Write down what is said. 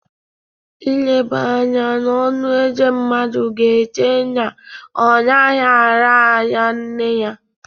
Ileba anya n’ọnụ Eze mmadụ ga-eche na ọ naghị ara ara nne ya.